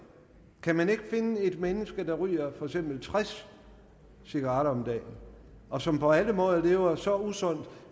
kan man ikke finde et menneske der ryger for eksempel tres cigaretter om dagen og som på alle måder lever så usundt